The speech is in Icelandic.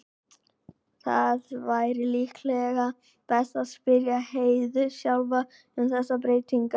Það væri líklega best að spyrja Heiðu sjálfa um þessar breytingar.